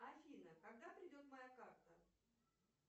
афина когда придет моя карта